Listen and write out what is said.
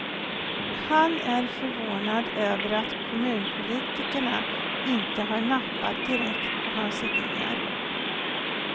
Han är förvånad över att kommunpolitikerna inte har nappat direkt på hans idéer.